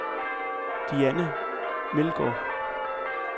Diana Meldgaard